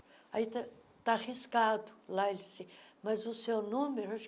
aí está está riscado lá, mas o seu número